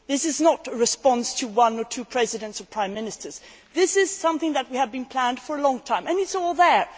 This is not a response to one or two Presidents or Prime Ministers this is something that we have been planning for a long time, and it is all there.